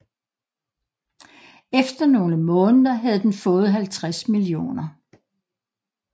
Efter nogle måneder havde den fået 50 mio